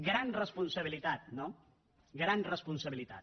gran responsabilitat no gran responsabilitat